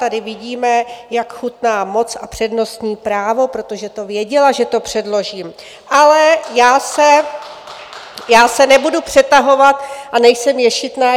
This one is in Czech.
Tady vidíme, jak chutná moc a přednostní právo, protože to věděla, že to předložím, ale já se nebudu přetahovat a nejsem ješitná.